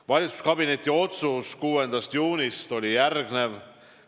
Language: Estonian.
Valitsuskabineti otsus 6. juunist oli järgnev.